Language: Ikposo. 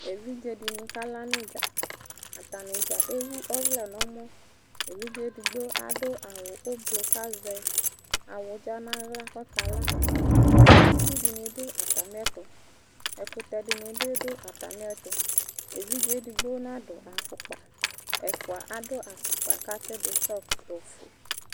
Evidzedɩnɩ kala n'ɩdza, atanɩdza ewu ɔvlɛ n'ɛmɔ ; evidze edigbo adʋ awʋ ʋblɔ kazɛ awʋdza n'aɣla k'ɔkala Itsudɩnɩ dʋ atamɩɛtʋ, ɛkʋtɛdɩnɩ bɩ dʋ atamɩɛtʋ, evidze edigbo nadʋ afʋkpa, ɛfʋa adʋ afʋkpa katsɩ dʋ sɔlt